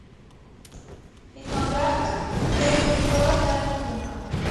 фильмография режиссера тарантино